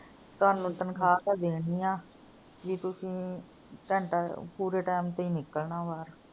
ਕੱਲ ਨੂੰ ਤਨਖਾ ਤਾਂ ਦੇਣੀ ਆ ਵੀ ਤੁਸੀਂ ਘੰਟਾ ਪੂਰੇ time ਤੇ ਈ ਨਿਕਲਣਾ ਬਾਹਰ।